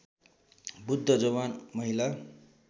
बृद्ध जवान महिला